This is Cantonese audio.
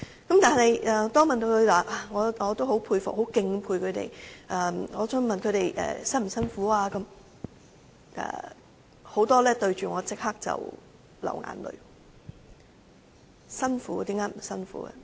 我當然很敬佩她們，但當我再問她們會否感到辛苦時，有很多人立刻流淚，說當然辛苦，怎會不辛苦呢？